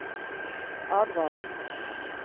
advares